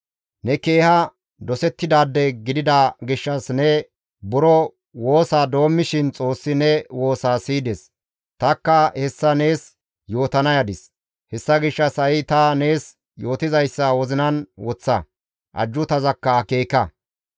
Ne keeha dosettidaade gidida gishshas ne buro woosa doommishin Xoossi ne woosaa siyides; tanikka hessa nees yootana yadis; hessa gishshas ha7i ta nees yootizayssa wozinan woththa; ajjuutazakka akeeka.